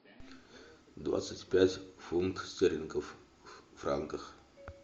двадцать пять фунтов стерлингов в франках